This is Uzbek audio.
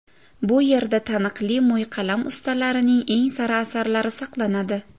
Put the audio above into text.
Bu yerda taniqli mo‘yqalam ustalarining eng sara asarlari saqlanadi.